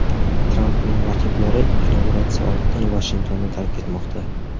Trampning raqiblari inauguratsiya oldidan Vashingtonni tark etmoqda.